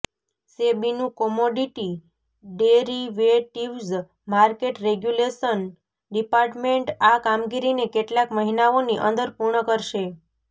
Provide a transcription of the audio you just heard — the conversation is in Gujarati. સેબીનું commodity derivatives market regulation department આ કામગીરીને કેટલાક મહિનાઓની અંદર પૂર્ણ કરશે